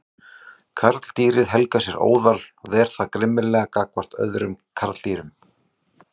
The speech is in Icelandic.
Karldýrið helgar sér óðal og ver það grimmilega gagnvart öðrum karldýrum.